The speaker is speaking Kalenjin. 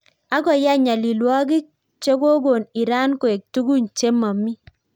Agoyai nyalilwagik chegokon Iran koek tugun chemamii